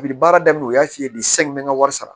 A bi baara daminɛ u y'a f'i ye de san n mɛ n ka wari sara